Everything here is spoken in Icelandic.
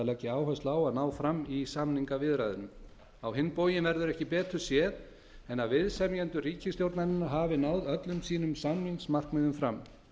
leggja áherslu á að ná fram í samningaviðræðunum á hinn bóginn verður ekki betur séð en að viðsemjendur ríkisstjórnarinnar hafi náð öllum sínum samningsmarkmiðum fram